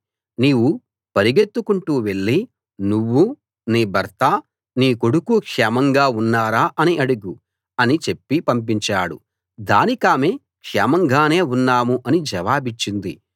నీవు పరిగెత్తుకుంటూ వెళ్ళి నువ్వూ నీ భర్తా నీ కొడుకూ క్షేమంగా ఉన్నారా అని అడుగు అని చెప్పి పంపించాడు దానికామె క్షేమంగానే ఉన్నాం అని జవాబిచ్చింది